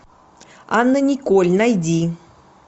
анна николь найди